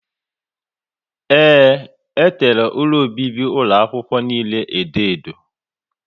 Ee, e tere ụlọ obibi ụlọ akwụkwọ niile edo edo